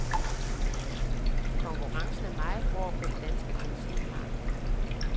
Konkurrencen er meget hård på det danske benzinmarked.